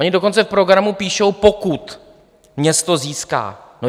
- Oni dokonce v programu píší "pokud" město získá.